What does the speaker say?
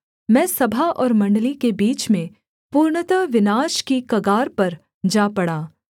मैं सभा और मण्डली के बीच में पूर्णतः विनाश की कगार पर जा पड़ा